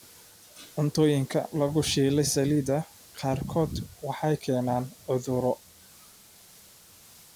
Cuntooyinka lagu shiilay saliidda qaarkood waxay keenaan cudurro.